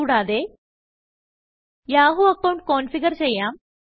കൂടാതെ Yahoo account configure ചെയ്യാം